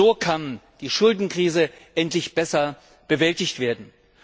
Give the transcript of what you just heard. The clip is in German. So kann die Schuldenkrise endlich besser bewältigt werden.